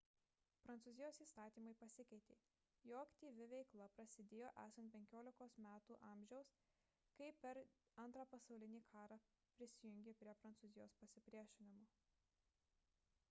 prancūzijos įstatymai pasikeitė jo aktyvi veikla prasidėjo esant 15 metų amžiaus kai per ii pasaulinį karą prisijungė prie prancūzijos pasipriešinimo